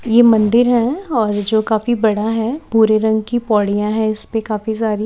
ये मंदिर है और जो कफी बड़ा है भूरे रंग की पौड़ियां है इसपे काफी सारी--